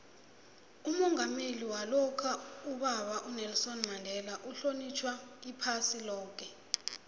umongameli walokha ubaba unelson mandela uhlonitjhwa iphasi loke